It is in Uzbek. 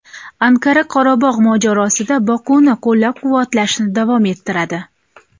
Anqara Qorabog‘ mojarosida Bokuni qo‘llab-quvvatlashni davom ettiradi.